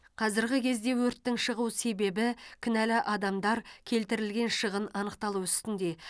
қазіргі кезде өрттің шығу себебі кінәлі адамдар келтірілген шығын анықталу үстінде